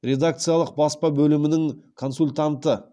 редакциялық баспа бөлімінің консультанты